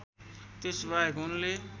त्यसबाहेक उनले